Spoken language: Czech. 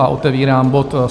A otevírám bod